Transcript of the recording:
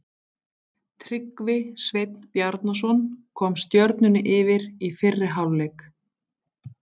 Tryggvi Sveinn Bjarnason kom Stjörnunni yfir í fyrri hálfleik.